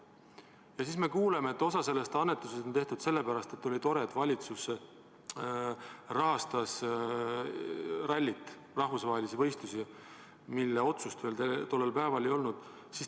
Ja siis me kuuleme, et osa sellest annetusest on tehtud sellepärast, et oli tore, et valitsus rahastas rallit, rahvusvahelist võistlust, mille otsust tollel päeval veel ei olnud.